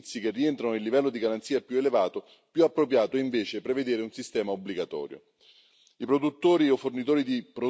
per i prodotti, i processi o i servizi che rientrano nel livello di garanzia più elevato è più appropriato, invece, prevedere un sistema obbligatorio.